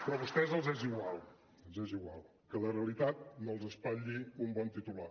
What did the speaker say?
però a vostès els és igual els és igual que la realitat no els espatlli un bon titular